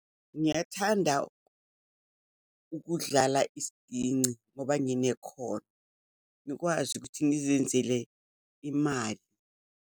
Ngiyathanda ukudlala isiginci, ngoba nginekhono. Ngikwazi ukuthi ngizenzele imali.